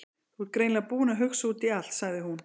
Þú ert greinilega búinn að hugsa út í allt- sagði hún.